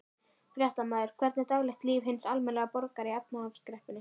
Fréttamaður: Hvernig er daglegt líf hins almenna borgara í efnahagskreppunni?